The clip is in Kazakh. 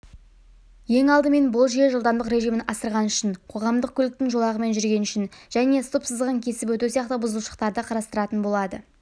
ең алдымен бұл жүйе жылдамдық режимін асырғаны үшін қоғамдық көліктің жолағымен жүргені үшін және стоп-сызығын кесіп өту сияқты бұзушылықтарды қарастыратын болады